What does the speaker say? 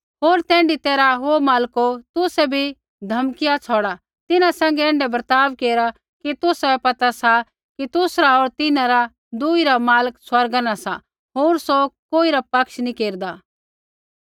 होर तैण्ढी तैरहा ओ मालको तुसै भी धमकिया छ़ौड़िआ तिन्हां सैंघै ऐण्ढै बर्ताव केरा कि तुसाबै पता सा कि तुसरा होर तिन्हां रा दुई रा मालक स्वर्गा न सा होर सौ कोई रा पक्ष नैंई केरदा